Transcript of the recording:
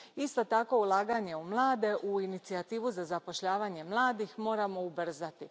Isto tako, ulaganje u mlade, u Inicijativu za zapošljavanje mladih, moramo ubrzati.